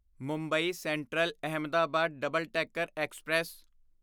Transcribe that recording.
Mumbai central Ahmedabad double decker express